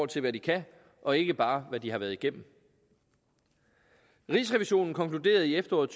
til hvad de kan og ikke bare hvad de har været igennem rigsrevisionen konkluderede i efteråret